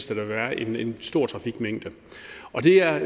der vil være en en stor trafikmængde og det er